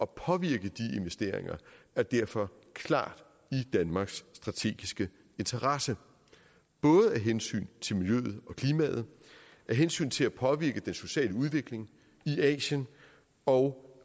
påvirke de investeringer er derfor klart i danmarks strategiske interesse både af hensyn til miljøet og klimaet af hensyn til at påvirke den sociale udvikling i asien og